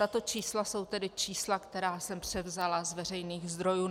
Tato čísla jsou tedy čísla, která jsem převzala z veřejných zdrojů.